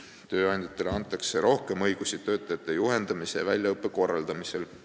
Tööandjatele antakse rohkem õigusi töötajate juhendamise ja väljaõppe korraldamisel.